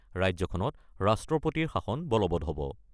ৰাজ্যখনত ৰাষ্ট্ৰপতিৰ শাসন বলৱৎ হ'ব।